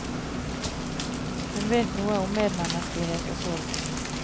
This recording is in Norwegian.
Hun vet noe om medmenneskelighet og sorg.